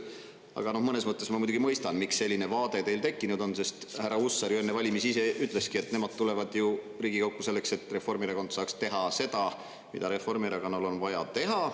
Aga mõnes mõttes ma muidugi mõistan, miks selline vaade teil tekkinud on, sest härra Hussar ju enne valimisi ise ütles, et nemad tulevad ju Riigikokku selleks, et Reformierakond saaks teha seda, mida Reformierakonnal on vaja teha.